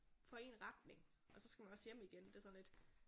For én retning og så skal man også hjem igen det er sådan lidt